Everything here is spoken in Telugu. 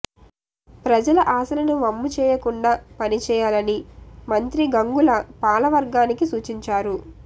ప్రజల ఆశలను వమ్ముచేయకుండా పని చేయాలని మంత్రి గంగుల పాలవర్గానికి సూచించారు